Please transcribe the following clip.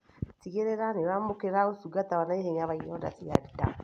Tigĩrĩra nĩũramũkĩra ũrigitani wa naihenya wa ironda cia nda